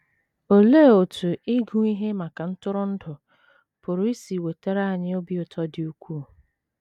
Olee otú ịgụ ihe maka ntụrụndụ pụrụ isi wetara anyị obi ụtọ dị ukwuu?